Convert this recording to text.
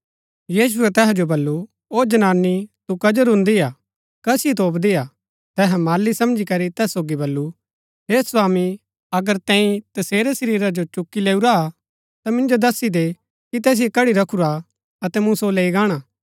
यीशुऐ तैहा जो बल्लू ओ जनानी तू कजो रूंदी हा कसिओ तोपदी हा तैहै माली समझी करी तैस सोगी बल्लू हे स्वामी अगर तैंई तसेरै शरीरा जो चुक्की लैऊरा हा ता मिन्जो दस्सी दे कि तैसिओ कड्ड़ी रखुरा हा अतै मूँ सो लैई गाणा